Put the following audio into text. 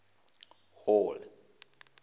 hall